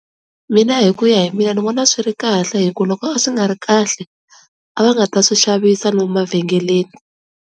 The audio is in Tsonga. Mina hi ku ya hi mina ndzi vona a swi ri kahle hi ku loko a swi nga ri kahle a va nga ta swi xavisi lomu mavhengeleni.